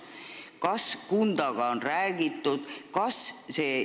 Kas Kundaga on räägitud?